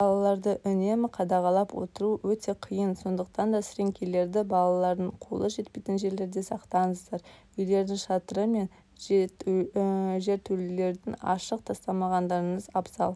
балаларды үнемі қадағалап отыру өте қиын сондықтан да сіреңкелерді балалардың қолы жетпейтін жерлерде сақтаңыздар үйлердің шатыры мен жертөлелерін ашық тастамағандарыңыз абзал